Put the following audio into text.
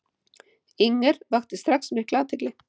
Inger vakti strax mikla athygli.